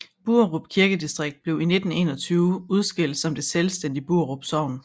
Buerup Kirkedistrikt blev i 1921 udskilt som det selvstændige Buerup Sogn